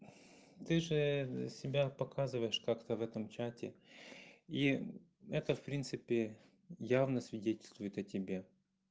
ты же себя показываешь как-то в этом чате и это в принципе явно свидетельствует о тебе